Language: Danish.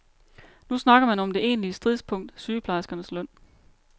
Nu snakker man om det egentlige stridspunkt, sygeplejerskernes løn.